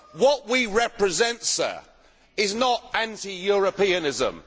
What we represent is not anti Europeanism.